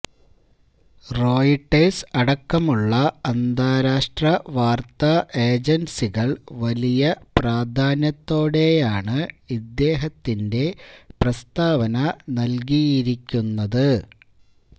Reuters അടക്കമുള്ള അന്താരാഷ്ട്ര വാര്ത്താ ഏജന്സികള് വലിയ പ്രാധാന്യത്തോടെയാണ് ഇദ്ദേഹത്തിന്റെ പ്രസ്താവന നല്കിയിരിക്കുന്നത്